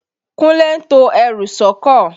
Kúnlé ń to ẹrù sọ́kọ̀.